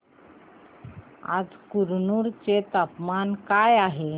आज कुरनूल चे तापमान काय आहे